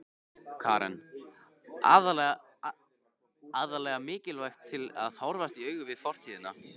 Karen: Aðallega mikilvægt til að horfast í augu við fortíðina?